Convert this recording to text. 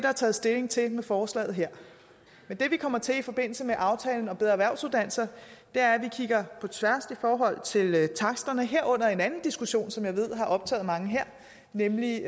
er taget stilling til med forslaget her men det vi kommer til i forbindelse med aftalen om bedre erhvervsuddannelser er at vi kigger på tværs i forhold til taksterne herunder en anden diskussion som jeg ved har optaget mange her nemlig